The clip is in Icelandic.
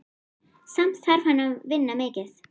Samt þarf hann að vinna mikið.